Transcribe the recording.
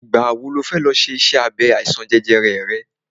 Ìgbà wọ ni ọ fẹ ṣe iṣẹ́ abẹ àìsàn jẹjẹrẹ rẹ?